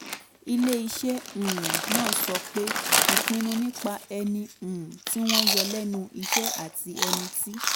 ilé iṣẹ́ um náà sọ pé ìpinnu nípa ẹni um tí wọ́n yọ lẹ́nu iṣẹ́ àti ẹni tí